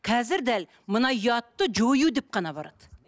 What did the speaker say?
қазір дәл мына ұятты жою деп қана барады